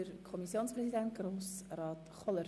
Kommissionspräsident der GSoK.